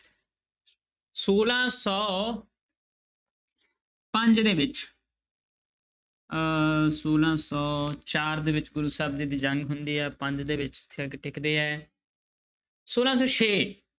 ਛੋਲਾਂ ਸੌ ਪੰਜ ਦੇ ਵਿੱਚ ਅਹ ਛੋਲਾਂ ਸੌ ਚਾਰ ਦੇ ਵਿੱਚ ਗੁਰੂ ਸਾਹਿਬ ਜੀ ਦੀ ਜੰਗ ਹੁੰਦੀ ਹੈ ਪੰਜ ਦੇ ਵਿੱਚ ਹੈ ਛੋਲਾਂ ਸੌ ਛੇ।